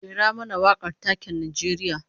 Rera mana wakar taken Najeriya